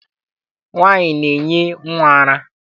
Nwaanyị na-enye nnwa ara.